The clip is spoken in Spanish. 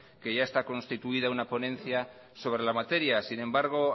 que ya está constituida una ponencia sobre la materia sin embargo